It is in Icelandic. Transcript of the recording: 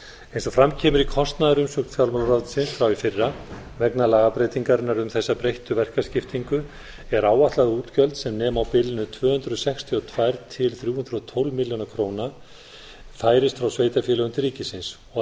eins og fram kemur í kostnaðarumsögn fjármálaráðuneytisins frá því fyrra vegna lagabreytingarinnar um þessa breyttu verkaskiptingu er áætlað að útgjöld sem nema á bilinu tvö hundruð sextíu og tvö til þrjú hundruð og tólf milljónir króna færist frá sveitarfélögum til ríkisins og